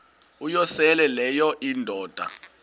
uyosele leyo indoda